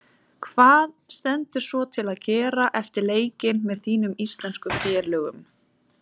Hvað stendur svo til að gera eftir leikinn með þínum íslensku félögum?